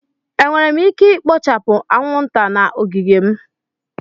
Enwere m ike ikpochapu anwụnta na ogige m?